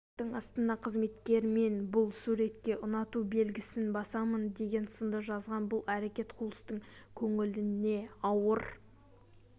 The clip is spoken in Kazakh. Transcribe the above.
суреттің астына қызметкерлер мен бұл суретке ұнату белгісін басамын деген сынды жазған бұл әрекет хулстың көңіліне ауыр